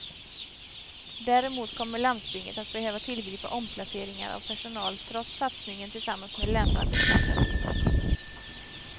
Däremot kommer landstinget att behöva tillgripa omplaceringar av personal trots satsningen tillsammans med länsarbetsnämnden.